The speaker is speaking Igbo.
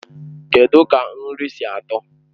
Kedụ ka nri si atọ?